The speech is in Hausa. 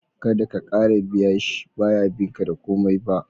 Kada ka kara biya shi, ba ya bin ka da komai ba